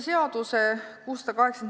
Head külalised!